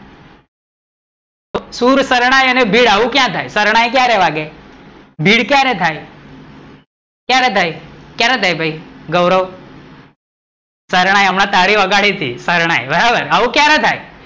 સુર, શારણ્ય અને ભીડ આવું ક્યાં થાય? શરણાઈ ક્યારે વાગે? ભીડ ક્યારે થાય? ક્યારે થાય? કયારે થાય? ભઈ ગૌરવ, શરણાઈ હમણાં તારી વગાડી હતી, શરણાઈ બરાબર